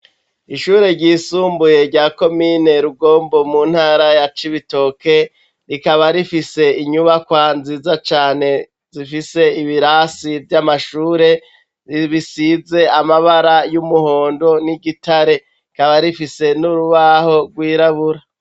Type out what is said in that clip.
Ishuri ryisumbuye rya komine Rugombo mu ntara ya Cibitoke rikaba rifise inyubakwa nziza cane ifise ibirasi vy'amashure bisize amabara y'umuhondo n'igitare rikaba rifise n'urubaho rwirabura.